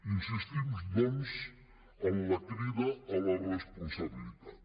insistim doncs en la crida a la responsabilitat